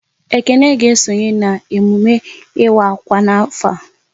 Ekene ga esonye n'emume ịwa akwa n'afọ a